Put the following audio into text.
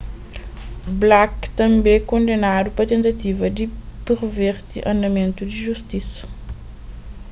blake tanbê kondenadu pa tentativa di perverti andamentu di justisa